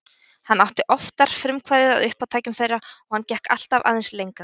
Hann átti oftar frumkvæðið að uppátækjum þeirra og hann gekk alltaf aðeins lengra.